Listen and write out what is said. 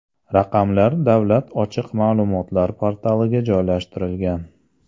Raqamlar Davlat ochiq ma’lumotlar portaliga joylashtirilgan.